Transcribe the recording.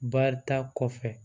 Baarita kɔfɛ